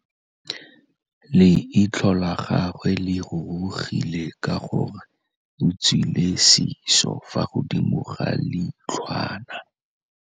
Leitlhô la gagwe le rurugile ka gore o tswile sisô fa godimo ga leitlhwana.